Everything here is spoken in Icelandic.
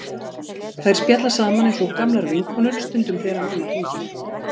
Þær spjalla saman eins og gamlar vinkonur stundum þegar mamma hringir.